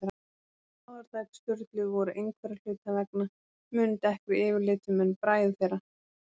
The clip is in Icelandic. Báðar dætur Sturlu voru einhverra hluta vegna mun dekkri yfirlitum en bræður þeirra.